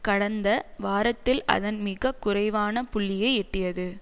கடந்த வாரத்தில் அதன் மிக குறைவான புள்ளியை எட்டியது